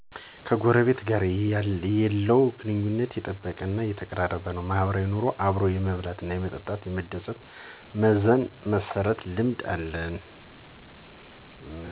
ከጎረቤት ጋር የለው ግንኙነት የጠበቀ እና የተቀራረበ ነው። ማህበራዊ ኑሮ አብሮ የመብላት፣ መጠጣት፣ መደሰት፣ መዘን እና መስረት ልምድ አለ